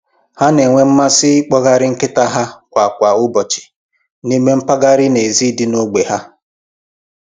Ha na-enwe mmasị ikpọgharị nkịta ha kwa kwa ụbọchị n'ime mpaghara n'èzí dị n'ógbè ha